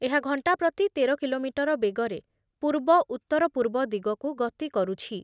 ଏହା ଘଣ୍ଟା ପ୍ରତି ତେର କିଲୋମିଟର ବେଗରେ ପୂର୍ବ-ଉତ୍ତରପୂର୍ବ ଦିଗକୁ ଗତି କରୁଛି।